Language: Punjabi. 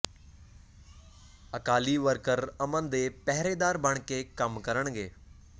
ਅਕਾਲੀ ਵਰਕਰ ਅਮਨ ਦੇ ਪਹਿਰੇਦਾਰ ਬਣ ਕੇ ਕੰਮ ਕਰਨਗੇ